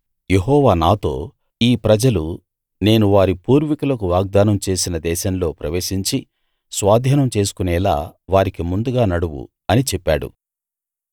యెహోవా నాతో ఈ ప్రజలు నేను వారి పూర్వీకులకు వాగ్దానం చేసిన దేశంలో ప్రవేశించి స్వాధీనం చేసుకొనేలా వారికి ముందుగా నడువు అని చెప్పాడు